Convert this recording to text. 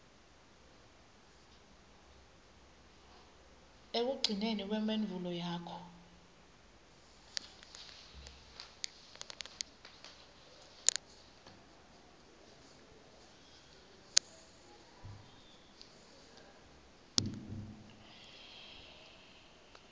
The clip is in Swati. ekugcineni kwemphendvulo yakho